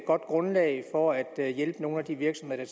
godt grundlag for at hjælpe nogle af de virksomheder